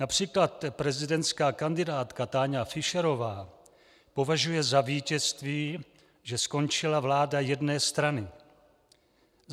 Například prezidentská kandidátka Táňa Fischerová považuje za vítězství, že skončila vláda jedné strany.